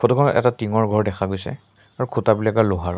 Photo খনত এটা tin ৰ ঘৰ দেখা গৈছে আৰু খুঁটা বিলাকৰ লোহাৰৰ।